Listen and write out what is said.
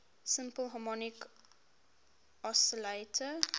simple harmonic oscillator